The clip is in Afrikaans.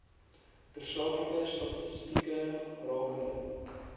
tersaaklike statistieke rakende